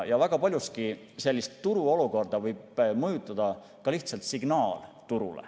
Väga paljuski võib turuolukorda mõjutada ka lihtsalt turule antav signaal.